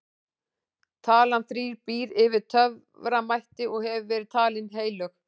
talan þrír býr yfir töframætti og hefur verið talin heilög